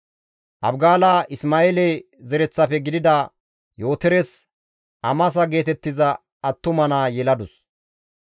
Abigaala Isma7eele zereththafe gidida Yootores Amasa geetettiza attuma naa yeladus.